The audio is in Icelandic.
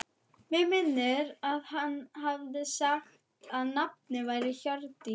Mig minnir að hann hafi sagt að nafnið væri Hjördís.